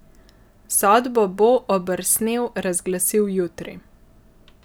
Sodbo bo Obersnel razglasil jutri.